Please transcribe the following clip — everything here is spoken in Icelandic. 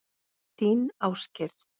Þinn Ásgeir.